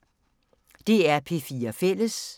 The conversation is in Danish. DR P4 Fælles